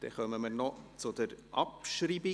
Wir kommen noch zur Abschreibung.